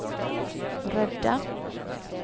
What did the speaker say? rädda